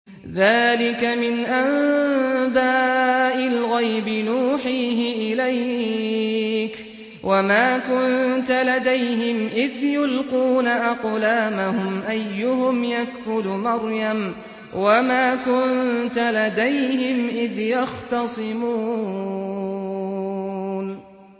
ذَٰلِكَ مِنْ أَنبَاءِ الْغَيْبِ نُوحِيهِ إِلَيْكَ ۚ وَمَا كُنتَ لَدَيْهِمْ إِذْ يُلْقُونَ أَقْلَامَهُمْ أَيُّهُمْ يَكْفُلُ مَرْيَمَ وَمَا كُنتَ لَدَيْهِمْ إِذْ يَخْتَصِمُونَ